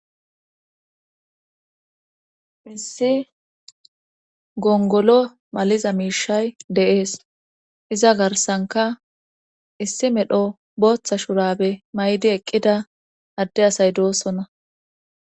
Issi gongolo maliza miishay dees. Iza garsanka issi medho booththa shurabe mayidi eqqida adde asay doosonna.